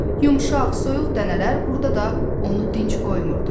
Yumşaq, soyuq dənələr burda da onu dinc qoymurdu.